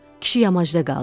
Kişi yamacda qaldı.